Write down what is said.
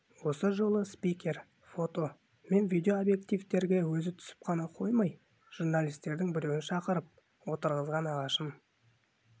осы жолы спикер фото мен видео объективтерге өзі түсіп қана қоймай журналистердің біреуін шақырып отырғызған ағашын